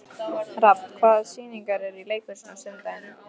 Rafn, hvaða sýningar eru í leikhúsinu á sunnudaginn?